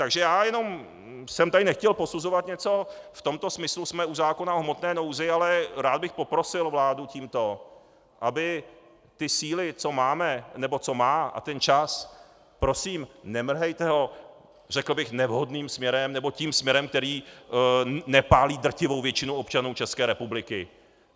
Takže já jenom jsem tady nechtěl posuzovat něco - v tomto smyslu jsme u zákona v hmotné nouzi, ale rád bych poprosil vládu tímto, aby ty síly, co máme, nebo co má, a ten čas - prosím, nemrhejte ho, řekl bych, nevhodným směrem, nebo tím směrem, který nepálí drtivou většinu občanů České republiky.